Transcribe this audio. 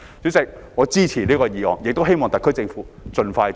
主席，我支持這項議案，亦希望特區政府盡快落實。